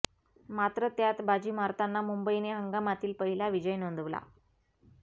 मात्र त्यात बाजी मारताना मुंबईने हंगामातील पहिला विजय नोंदवला